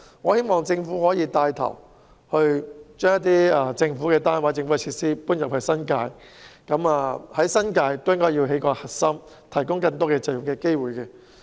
我希望政府可以帶頭把政府單位或設施遷到新界，在新界打造一個核心，以便提供更多就業機會。